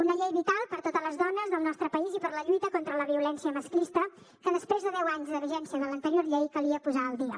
una llei vital per a totes les dones del nostre país i per a la lluita contra la violència masclista que després de deu anys de vigència de l’anterior llei calia posar al dia